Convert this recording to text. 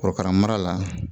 Korokara mara la